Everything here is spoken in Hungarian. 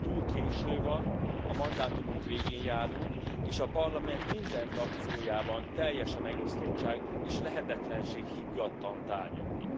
Túl késő van, a mandátumunk végén járunk, és a Parlament minden frakciójában teljes a megosztottság, és lehetetlenség higgadtan tárgyalni.